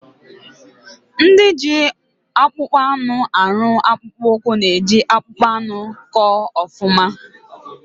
Ndị ji akpụkpọ anụ arụ akpụkpụ ụkwụ na eji akpụkpọ anụ kọ ọfụma